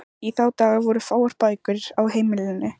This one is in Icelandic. Í þá daga voru fáar bækur á heimilum.